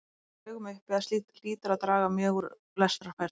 Það liggur í augum uppi að slíkt hlýtur að draga mjög úr lestrarfærni.